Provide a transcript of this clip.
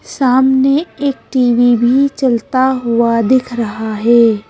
सामने एक _TV भी चलता हुआ दिख रहा हे ।